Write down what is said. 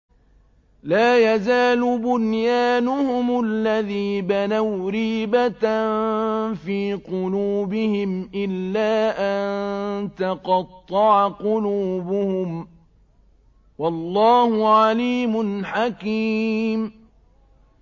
لَا يَزَالُ بُنْيَانُهُمُ الَّذِي بَنَوْا رِيبَةً فِي قُلُوبِهِمْ إِلَّا أَن تَقَطَّعَ قُلُوبُهُمْ ۗ وَاللَّهُ عَلِيمٌ حَكِيمٌ